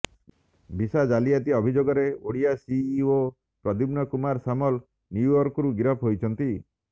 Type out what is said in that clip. visa ଜାଲିଆତି ଅଭଯୋଗରେ Odia CEO Pradyumna Kumar Samal ନ୍ୟୁୟର୍କରୁ ଗିରଫ ହୋଇଛନ୍ତି